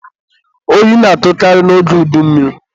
oyi na-atụkarị n'oge udummiri.